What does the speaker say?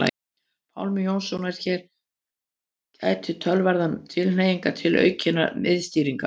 Pálma Jónssonar að hér gætir töluverðrar tilhneigingar til aukinnar miðstýringar.